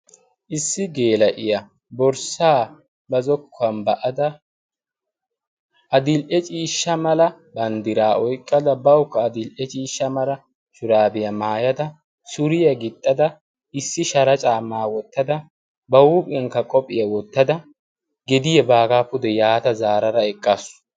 issi geela'iya borssaa ba zokkuwan ba'ada adil"e ciishsha mala banddiraa oyqqada bawukka adil"e ciishsha mala shuraabiyaa maayada suriya gixxada issi shara caammaa wottada ba huuphiyankka qophiyaa wottada gediya baagaa pude yaata zaarara eqqaasu.